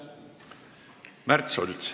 Märt Sults.